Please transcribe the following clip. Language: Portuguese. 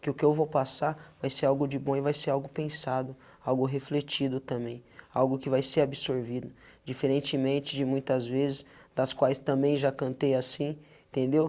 que o que eu vou passar vai ser algo de bom e vai ser algo pensado, algo refletido também, algo que vai ser absorvido, diferentemente de muitas vezes das quais também já cantei assim, entendeu?